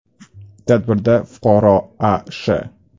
Tadbirda fuqaro A.Sh.